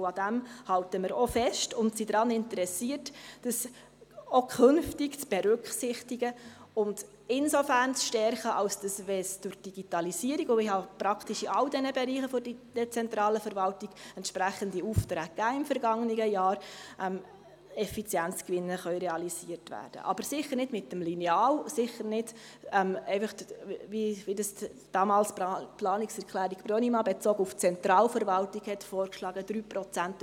Daran halten wir auch fest und sind daran interessiert, dies auch künftig zu berücksichtigen und insofern zu stärken, wenn durch die Digitalisierung – und ich habe im vergangenen Jahr in praktischen allen Bereichen der dezentralen Verwaltung entsprechende Aufträge gegeben – Effizienzgewinne realisiert werden können, aber sicher nicht mit dem Lineal und sicher nicht so, wie es die Planungserklärung Brönnimann damals bezogen auf die Zentralverwaltung vorgeschlagen hatte: